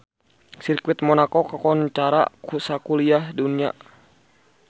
Sirkuit Monaco kakoncara sakuliah dunya